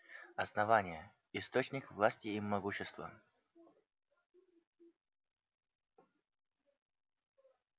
основание источник власти и могущества